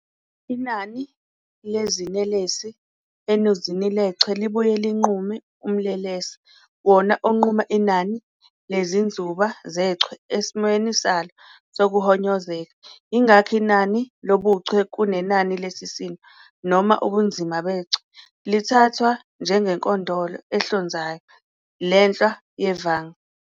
Inani lezinelesi enuzini lechwe libuye linqume umlelesa, wona onquma inani lezinzuba zechwe esimweni salo sokuhonyozeka. Ingakho inani lobuchwe, kunenani lesisindo noma ubunzima bechwe, lithathwa njengenkondolo ehlonzayo lenhlwa yevanga.